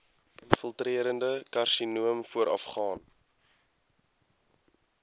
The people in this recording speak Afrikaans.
infiltrerende karsinoom voorafgaan